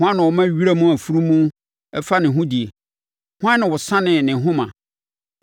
“Hwan na ɔma wiram afunumu fa ne ho die? Hwan na ɔsanee ne nhoma?